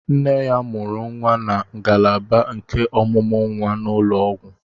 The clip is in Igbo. Nne ya mụrụ nwa na ngalaba nke ọmụmụ nwa n'ụlọ ọgwụ.